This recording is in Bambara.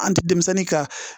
An ti denmisɛnnin ka